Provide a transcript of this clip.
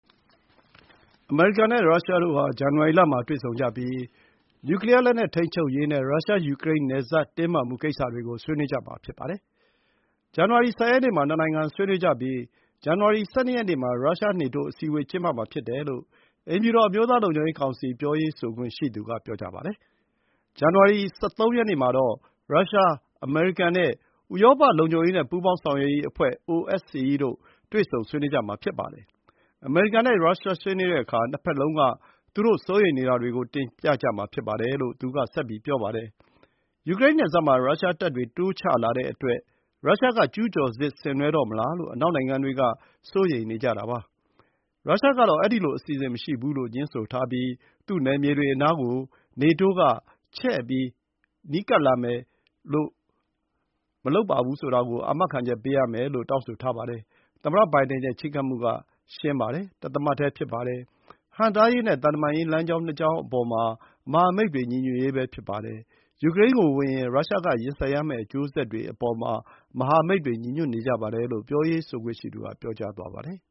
အမေရိကန်နဲ့ ရုရှားတို့ဟာ ဇန်နဝါရီလမှာ တွေ့ဆုံကြပြီး နျူကလီယားလက်နက်ထိန်းချုပ်ရေးနဲ့ ရုရှား ယူကရိန်းနယ်စပ် တင်းမာမှုကိစ္စတွေကို ဆွေးနွေးကြမှာ ဖြစ်ပါတယ်။ ဇန်နဝါရီ ၁၀ ရက်နေ့မှာ နှစ်နိုင်ငံဆွေးနွေးကြပြီး ဇန်နဝါရီ ၁၂ ရက်နေ့ မှာ ရုရှား နေတိုး အစည်းအဝေး ကျင်းပမှာ ဖြစ်တယ်လို့ အိမ်ဖြူတော် အမျိုးသားလုံခြုံရေးကောင်စီ ပြောရေးဆိုခွင့်ရှိသူက ပြောပါတယ်။ဇန်နဝါရီ ၁၃ မှာတော့ ရုရှား၊ အမေရိကန်နဲ့ ဥရောပလုံခြုံရေးနဲ့ ပူးပေါင်းဆောင်ရွက်ရေးအဖွဲ့ OSCE တို့ တွေ့ဆုံဆွေးနွေးကြမှာ ဖြစ်ပါတယ်။ အမေရိကန်နဲ့ ရုရှားဆွေးနွေးတဲ့အခါ နှစ်ဘက်လုံးက သူတို့ စိုးရိမ်နေတာတွေကို တင်ပြကြမှာဖြစ်ပါတယ်လို့ သူက ဆက်ပြောပါတယ်။ ယူကရိန်းနယ်စပ်မှာ ရုရှားတပ်တွေ တိုးချလာတဲ့အတွက် ရုရှားက ကျူးကျော်စစ် ဆင်နွှဲတော့မလားလို့ အနောက်နိုင်ငံတွေက စိုးရိမ်နေကြတာပါ။ ရုရှားကတော့ အဲဒီလိုအစီအစဉ်မရှိဘူးလို့ ငြင်းဆိုထားပြီး သူ့ နယ်မြေတွေအနားကို နေတိုးက ချဲ့ကပ်မလာဘူးဆိုတဲ့ အာမခံချက်ပေးဖို့ တောင်းဆိုထားပါတယ်။ “သမ္မတဘိုင်ဒင်ရဲ့ ချဉ်းကပ်မှုက ရှင်းပါတယ်။ တသမတ်တည်း ဖြစ်ပါတယ်။ ဟန့်တားရေးနဲ့ သံတမန် ရေး လမ်းကြောင်း ၂ ကြောင်းအပေါ်မှာ မဟာမိတ်တွေ ညီညွတ်ရေးပဲ ဖြစ်ပါတယ်။ ယူကရိန်းကိုဝင်ရင်၊ ရုရှား က ရင်ဆိုင်ရမယ့် အကျိုးဆက်တွေအပေါ်မှာ မဟာမိတ်တွေ ညီညွတ်နေကြပါတယ်။” လို့ ပြောရေးဆိုခွင့်ရှိသူက ပြောသွားပါတယ်